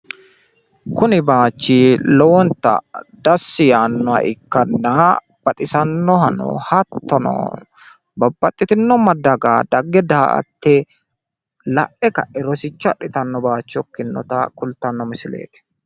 kuni bayichi lowonta dassi yannoha ikkanna baxisannohano hattono babbaxxitino daga dagge daa''atte la'e kae roosicho adhitanno bayicho ikkinnota kulttano missileti.